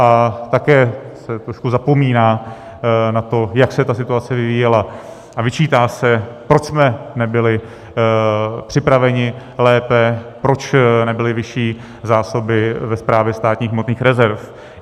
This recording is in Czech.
A také se trošku zapomíná na to, jak se ta situace vyvíjela, a vyčítá se, proč jsme nebyli připraveni lépe, proč nebyly vyšší zásoby ve Správě státních hmotných rezerv.